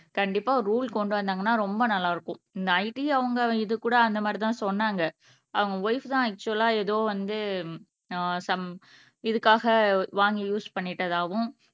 கண்டிப்பா ரூல் கொண்டு வந்தாங்கன்னா ரொம்ப நல்லா இருக்கும் இந்த IT அவங்க இது கூட அந்த மாதிரிதான் சொன்னாங்க அவங்க ஒய்ப் தான் ஆக்சுவலா எதோ வந்து ஆஹ் சம் இதுக்காக வாங்கி யூஸ் பண்ணிட்டதாகவும்